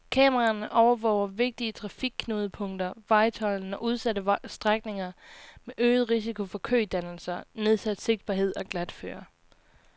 Kameraerne overvåger vigtige trafikknudepunkter, vejtolden og udsatte strækninger med øget risiko for kødannelser, nedsat sigtbarhed og glatføre.